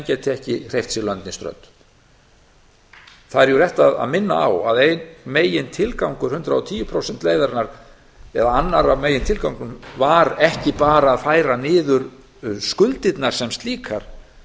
geti ekki hreyft sig lönd né strönd það er rétt að minna á að einn megintilgangur hundrað og tíu prósenta leiðarinnar eða annar af megintilgangur var ekki bara að færa niður skuldirnar sem slíkar